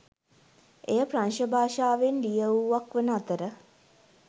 එය ප්‍රංශ භාෂාවෙන් ලියවූවක් වන අතර